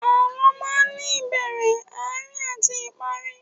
Àlọ́ máa ní ìbẹ̀rẹ̀, Àárín àti ìparí